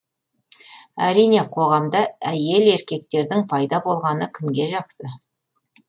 әрине қоғамда әйел еркектердің пайда болғаны кімге жақсы